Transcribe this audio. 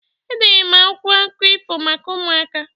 Edere m akwụkwọ akụkụ ifo maka ụmụaka.